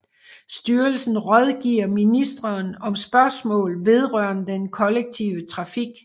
Styrelsen rådgiver ministeren om spørgsmål vedrørende den kollektive trafik